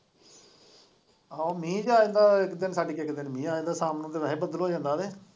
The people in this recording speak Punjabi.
ਆਹੋ ਮੀਂਹ ਤੇ ਜਾਂਦਾ ਇੱਕ ਦਿਨ ਛੱਡ ਕੇ ਅਗਲੇ ਦਿਨ ਮੀਂਹ ਆ ਜਾਂਦਾ ਸ਼ਾਮ ਨੂੰ ਤੇ ਵੈਸੇ ਬਦਲ ਹੋ ਜਾਂਦਾ ਹੈ ਨਾ।